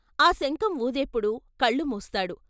ఆ శంఖం వూదేప్పుడు కళ్ళు మూస్తాడు.